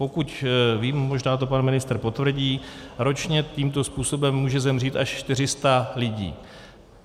Pokud vím, možná to pan ministr potvrdí, ročně tímto způsobem může zemřít až 400 lidí.